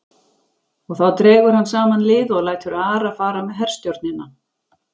Og þá dregur hann saman lið og lætur Ara fara með herstjórnina.